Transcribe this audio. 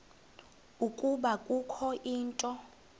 ukuba kukho into